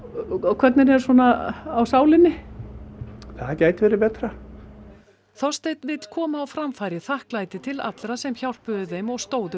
hvernig er svona á sálinni það gæti verið betra Þorsteinn vill koma á framfæri þakklæti til allra sem hjálpuðu þeim og stóðu